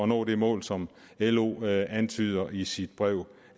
nå det mål som lo antyder i sit brev